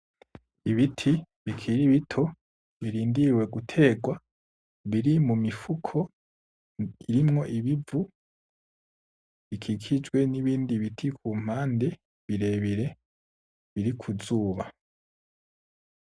Ibiti bikiri bito birindiriye guterwa biri mumifuko irimwo ibivu bikikijwe n’ibindi biti kumumpande birebire biri ku zuba.